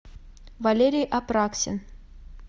валерий апраксин